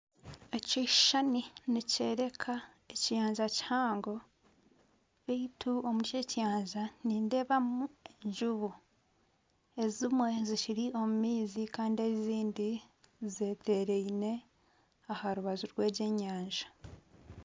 Ekishushani nikyoreka ekiyanja kihango beitu omuri eki ekiyanja harimu enjubu ezimwe zikiri omu maizi kandi ezindi zetereine aha rubaju rwegi enyanja .